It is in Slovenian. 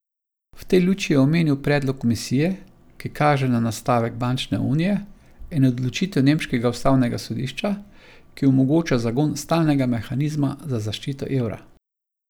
V tej luči je omenil predlog komisije, ki kaže na nastavek bančne unije, in odločitev nemškega ustavnega sodišča, ki omogoča zagon stalnega mehanizma za zaščito evra.